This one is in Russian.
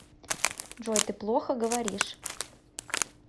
джой ты плохо говоришь